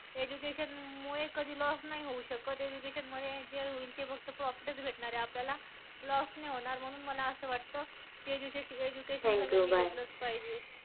Education मुळे कधी loss नाही होऊ शकत. Education मुळे जे होईल ते फक्त profit च भेटणारंय आपल्याला, loss नाही होणार. म्हणून मला असं वाटतं की एज्यू education यांनी घेतलंच पाहिजे.